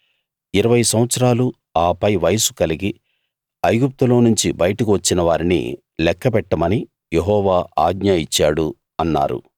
20 సంవత్సరాలు ఆ పై వయస్సు కలిగి ఐగుప్తులోనుంచి బయటకు వచ్చిన వారిని లెక్కపెట్టమని యెహోవా ఆజ్ఞ ఇచ్చాడు అన్నారు